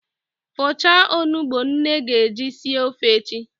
Fọchaa onugbu nne ga-eji sie ofe echi!